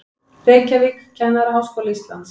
Reykjavík, Kennaraháskóli Íslands.